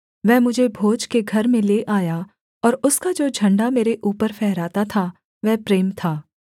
वह मुझे भोज के घर में ले आया और उसका जो झण्डा मेरे ऊपर फहराता था वह प्रेम था